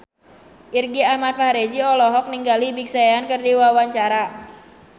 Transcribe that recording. Irgi Ahmad Fahrezi olohok ningali Big Sean keur diwawancara